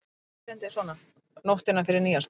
Eitt erindið er svona: Nóttina fyrir nýársdaginn